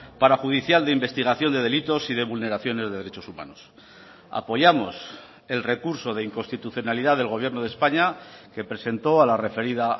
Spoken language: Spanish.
parajudicial de investigación de delitos y de vulneraciones de derechos humanos apoyamos el recurso de inconstitucionalidad del gobierno de españa que presentó a la referida